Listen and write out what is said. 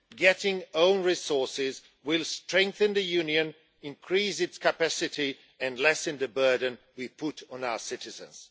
Getting own resources will strengthen the Union, increase its capacity and lessen the burden we put on our citizens.